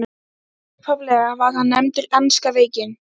Upphaflega var hann nefndur enska veikin.